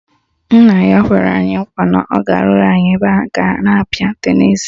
Nna ya kwere anyị nkwa na ọ ga-arụrụ anyị ebe a na-apịa tenisi